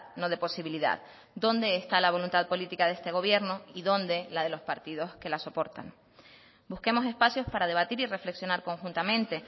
no de posibilidad dónde está la voluntad política de este gobierno y dónde la de los partidos que la soportan busquemos espacios para debatir y reflexionar conjuntamente